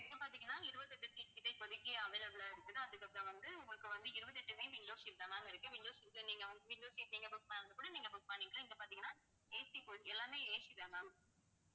இப்ப பாத்தீங்கன்னா இருபத்தி எட்டு seat கிட்ட இப்பத்திக்கு available ஆ இருக்குது. அதுக்கப்புறம் வந்து உங்களுக்கு வந்து, இருபத்தெட்டுமே window seat தான் ma'am இருக்கு window seat அ நீங்க வந்~ window seat நீங்க book பண்றதுன்னா கூட book பண்ணிக்கலாம். இங்க பார்த்தீங்கன்னா AC coach எல்லாமே AC தான் ma'am